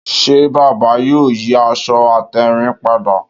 Ṣé bàbá yóò yí aṣọ àtèrìn padà?